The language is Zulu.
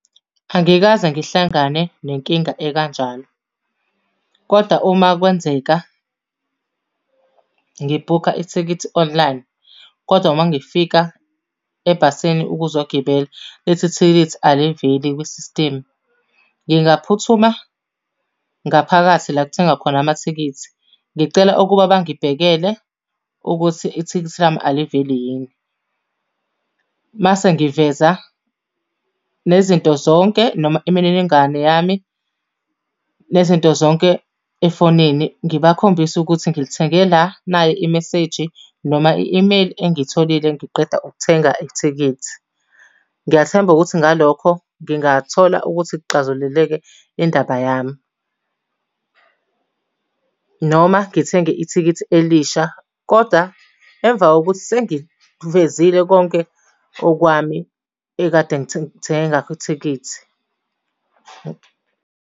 Angikaze ngihlangane nenkinga ekanjalo, koda uma kwenzeka ngibhukha ithikithi online, kodwa uma ngifika ebhasini ukuzogibela, lithi ithikithi aliveli kwisistimu. Ngingaphuthuma ngaphakathi la kuthengwa khona amathikithi, ngicele ukuba bangibhekele ukuthi ithikithi lami aliveli yini. Mase ngiveza nezinto zonke noma imininingwane yami, nezinto zonke efonini ngibakhombise ukuthi ngilithenge la nayi imeseji noma i-imeyili engiyitholile ngiqeda ukuthenga ithikithi. Ngiyathemba ukuthi ngalokho ngingathola ukuthi kuxazululeke indaba yami, Noma ngithenge ithikithi elisha koda emva kokuthi sengikuvezile konke okwami ekade ngithenge ngakho ithikithi.